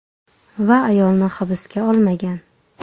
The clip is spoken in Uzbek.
Va ayolni hibsga olmagan.